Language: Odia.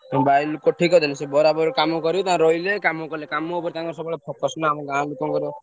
ତାଙ୍କର ରହିଲେ କାମ କଲେ କାମ ଉପରେ ସବୁବେଳେ ତାଙ୍କର focus ନା ଆମ ଗାଁ ଲୋକ ଙ୍କର।